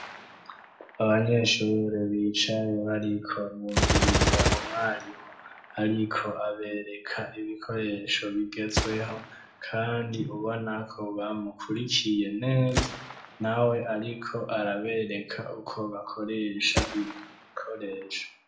Abanyeshure bicaye bariko mumviriza umwarimu ariko abereka ibikoresho bigezweho kandi ubonako bamukurikiye neza nawe ariko arabereka uko bakoresha ivyo bikoresho.